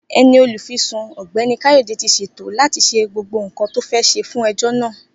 Eni Olufisun Ọ̀gbẹ́ni Kayode ti se to láti se gbogbo nkan to fe se fun ejò na